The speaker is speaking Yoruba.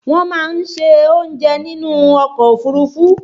Wọ́n máa ń se oúnjẹ nínú ọkọ̀ òfúrufú